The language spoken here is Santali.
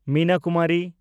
ᱢᱤᱱᱟ ᱠᱩᱢᱟᱨᱤ